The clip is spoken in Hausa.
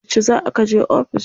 Yauce za kaje ofis?